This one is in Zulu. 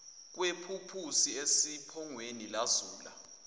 kwephuphusi esiphongweni lazula